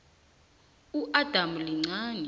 udamu lincani